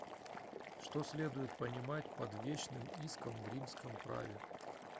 что следует понимать под вещным иском в римском праве